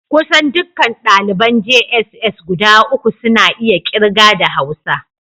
Kusan dukkan daliban jss guda uku suna iya kirga da Hausa